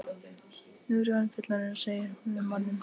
Nú er ég orðin fullorðin, segir hún við manninn.